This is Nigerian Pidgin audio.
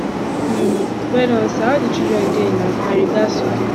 um well don sir how the children dey na my regards to dem